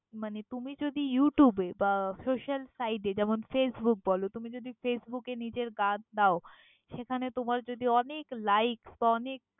মানে তুমি যদি youtube এ বা social site যেমন facebook বলো, তুমি যদি ফেসবুকে নিজের গান দাও, সেখানে তোমার যদি অনেক likes বা অনেক।